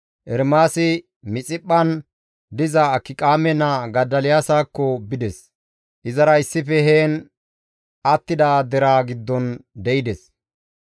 Ermaasi Mixiphphan diza Akiqaame naa Godoliyaasakko bides; izara issife heen attida deraa giddon de7ides.